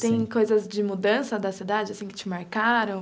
Tem coisas de mudança da cidade, assim, que te marcaram?